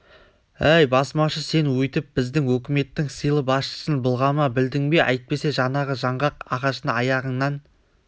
әй басмашы сен өйтіп біздің өкіметтің сыйлы басшысын былғама білдің бе әйтпесе жаңағы жаңғақ ағашына аяғыңнан